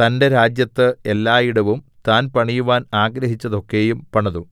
തന്റെ രാജ്യത്ത് എല്ലായിടവും താൻ പണിയുവാൻ ആഗ്രഹിച്ചതൊക്കെയും പണിതു